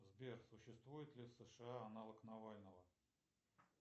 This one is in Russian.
сбер существует ли в сша аналог навального